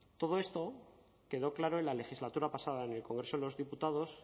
todo esto quedó claro en la legislatura pasada en el congreso de los diputados